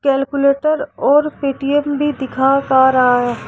Calculator और Paytm भी दिखा खा रहा है।